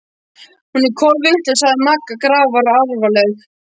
Hún er kolvitlaus sagði Magga grafalvarleg.